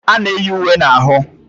A na-eyi uwe na ahụ